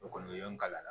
O kɔni o ye n kalan